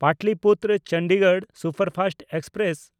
Pataliputra-Chandigarh superfast express